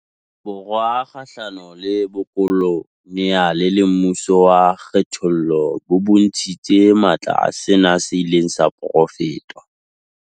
Borwa kgahlano le bokolo neale le mmuso wa kgethollo bo bontshitse matla a sena seileng sa porofetwa.